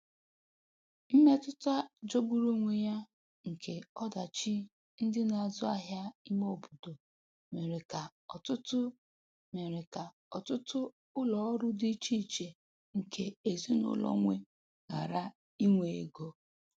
Mmetụta jọgburu onwe ya nke ọdachi ndị na-azụ ahịa ime obodo mere ka ọtụtụ mere ka ọtụtụ ụlọ ọrụ dị icheiche nke ezinụlọ nwe ghara inwe ego.